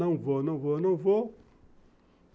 Não vou, não vou, não vou.